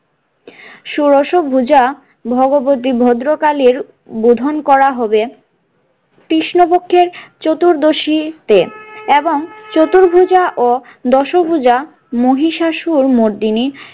ষোড়শ ভূজা ভগবতী ভদ্রকালীর বোধন করা হবে কৃষ্ণপক্ষের চতুর্দশীতে এবং চতুর্ভূজা ও দশভূজা মহিষাসুর মর্দিনীর।